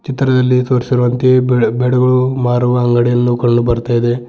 ಚಿತ್ರದಲ್ಲಿ ತೋರಿಸಿರುವಂತೆ ಬೇ ಬೆಡ್ ಗಳು ಮಾರುವ ಅಂಗಡಿಯನ್ನು ಕಂಡು ಬರ್ತಾ ಇದೆ.